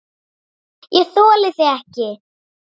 ÉG ÞOLI ÞIG EKKI!